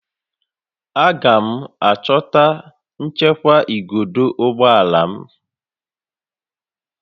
Aga m achọta nchekwa igodo ụgbọ ala m